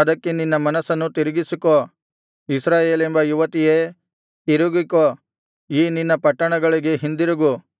ಅದಕ್ಕೆ ನಿನ್ನ ಮನಸ್ಸನ್ನು ತಿರುಗಿಸಿಕೋ ಇಸ್ರಾಯೇಲೆಂಬ ಯುವತಿಯೇ ತಿರುಗಿಕೋ ಈ ನಿನ್ನ ಪಟ್ಟಣಗಳಿಗೆ ಹಿಂದಿರುಗು